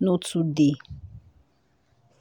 no too dey.